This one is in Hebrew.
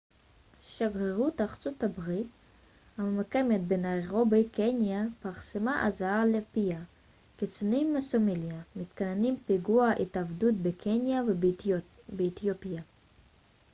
שגרירות ארצות הברית הממוקמת בניירובי קניה פרסמה אזהרה לפיה קיצונים מסומליה מתכננים פיגועי התאבדות בקניה ובאתיופיה